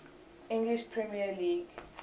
english premier league